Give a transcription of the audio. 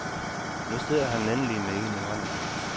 Nu sidder han endelig med en i hånden.